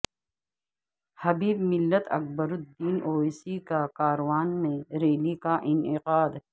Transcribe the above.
حبیب Millat Akbaruddin Owaisi کا کاروان میں ریلی کا انعقاد